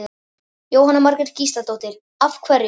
Jóhanna Margrét Gísladóttir: Af hverju?